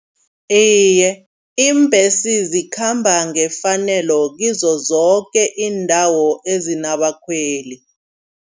Iye iimbesi zikhamba ngefanelo kizo zoke iindawo ezinabakhweli.